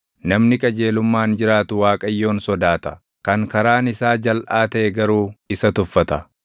Namni qajeelummaan jiraatu Waaqayyoon sodaata; kan karaan isaa jalʼaa taʼe garuu isa tuffata.